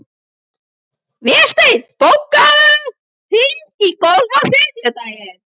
Vésteinn, bókaðu hring í golf á þriðjudaginn.